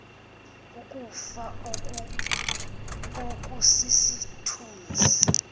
ukufa oku sisithunzi